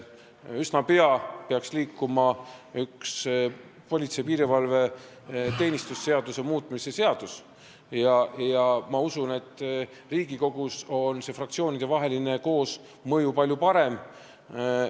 Üsna pea peaks liikuma hakkama üks politsei ja piirivalve seaduse muutmise seadus ja ma usun, et Riigikogus on see fraktsioonidevaheline koosmõju palju parem.